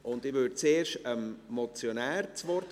Ich erteile zuerst dem Motionär das Wort.